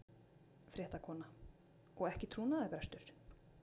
Fréttakona: Og ekki trúnaðarbrestur?